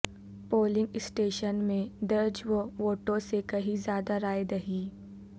polling station میں درج ووٹوں سے کہیں زیادہ رائے دہی